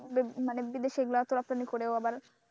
মানে বিদেশে এগুলো রপ্তানি করেও আবার,